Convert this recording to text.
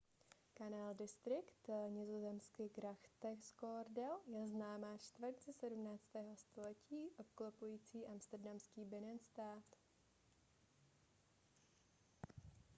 canal district nizozemsky: grachtengordel je známá čtvrť ze 17. století obklopující amsterdamský binnenstad